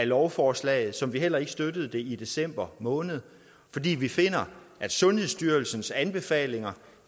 lovforslag ligesom vi heller ikke støttede forslaget i december måned fordi vi finder at sundhedsstyrelsens anbefalinger